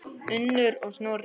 Unnur og Snorri.